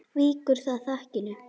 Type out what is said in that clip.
Víkjum að þakinu.